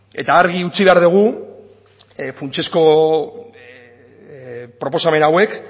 eta argi utzi behar dugu funtsezko proposamen hauek